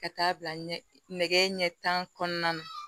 Ka taa bila ɲɛ nɛgɛ ɲɛ tan kɔnɔna na